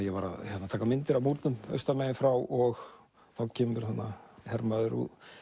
ég var að taka myndir af múrnum austan megin frá og þá kemur hermaður